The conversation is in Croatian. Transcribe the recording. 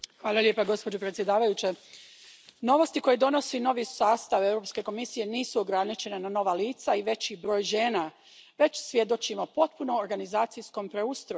Poštovana predsjedavajuća, novosti koje donosi novi sastav Europske komisije nisu ograničene na nova lica i veći broj žena, već svjedočimo potpunom organizacijskom preustroju.